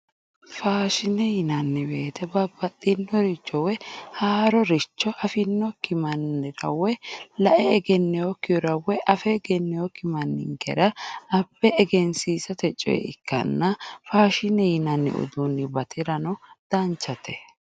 Faashine yinanni woyiite bannaxxinoricho woyi haaroricho afe egenneyookki woyi lae egenneyookki manninkera egensiisa ikkanna faashine yinanni uduunni batira danchate